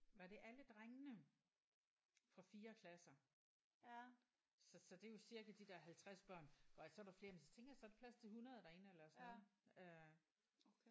Var det alle drengene fra 4 klasser så så det er jo cirka de der 50 børn går så er der flere men så tænker jeg så er der plads til 100 derinde eller sådan noget øh